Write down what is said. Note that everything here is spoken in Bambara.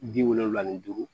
Bi wolonwula ni duuru